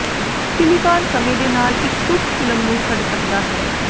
silicon ਸਮੇਂ ਦੇ ਨਾਲ ਇੱਕ ਸੁਸਤ ਫਿਲਮ ਨੂੰ ਛੱਡ ਸਕਦਾ ਹੈ